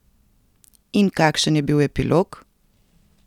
In kakšen je bil epilog?